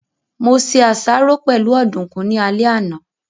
Mo se àsáró pẹ̀lú ọ̀dùkún ní alẹ́ àná